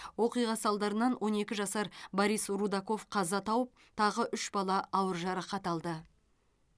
оқиға салдарынан он екі жасар борис рудаков қаза тауып тағы үш бала ауыр жарақат алды